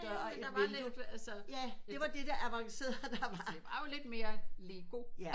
Ja ja men der var lidt altså det var jo lidt mere lego